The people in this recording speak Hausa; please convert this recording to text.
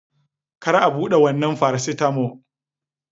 Kar a bude wannan faracetamol!